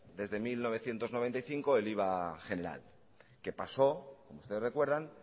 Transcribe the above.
desde mil novecientos noventa y cinco el iva general que pasó como ustedes recuerdan